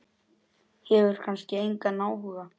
Hefur kannski engan áhuga.